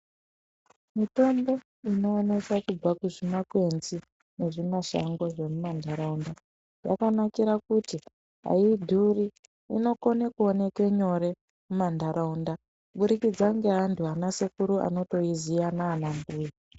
Mitombo unoonekwa kubva kuzvimakwenzi nezvimashango zvemumantaraunda yakanakira kuti haidhuri. Inokone kuoneke nyore mumantaraunda kubudikidza neantu anasekuru anotoiziya naanambuya.